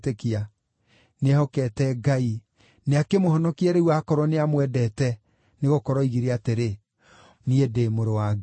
Nĩehokete Ngai, nĩakĩmũhonokie rĩu aakorwo nĩamwendete, nĩgũkorwo oigire atĩrĩ, ‘Niĩ ndĩ Mũrũ wa Ngai.’ ”